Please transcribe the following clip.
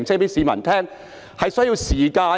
主席，這是需要時間的！